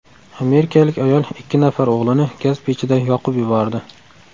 Amerikalik ayol ikki nafar o‘g‘lini gaz pechida yoqib yubordi.